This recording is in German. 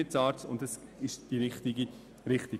Dies ist die richtige Richtung.